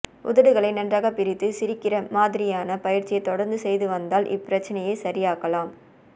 உதடுகளை நன்றாக பிரித்துக் சிரிக்கிற மாதிரியான பயிற்சியைத் தொடர்ந்து செய்து வந்தால் இப்பிரச்சனையை சரியாக்கலாம்ஃ